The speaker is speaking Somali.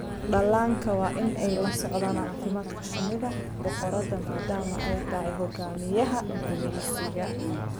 Dhallaanka waa in ay la socdaan caafimaadka shinida boqorada maadaama ay tahay hogaamiyaha gumaysiga.